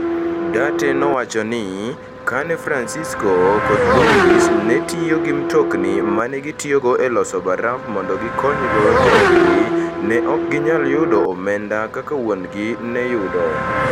Duarte nowacho ni, kane Francisco kod Luis ne tiyo gi mtokni ma ne gijotiyogo e loso baraf mondo gikonygo joodgi, ne ok ginyal yudo omenda kaka wuon-gi ne yudo.